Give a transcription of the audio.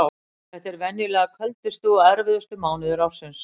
Þetta eru venjulega köldustu og erfiðustu mánuðir ársins.